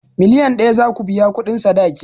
Miliyan ɗaya zaku biya kuɗin sadaki